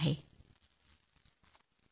जदुरानी जी आभार हरे कृष्ण